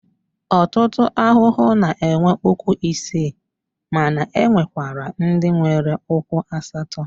Ọtụtụ ahụhụ na-enwe ụkwụ isii mana e nwekwara ndị nwere ụkwụ asatọ.